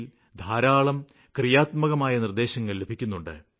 ല് ധാരാളം ക്രിയാത്മക നിര്ദ്ദേശങ്ങള് ലഭിക്കുന്നുണ്ട്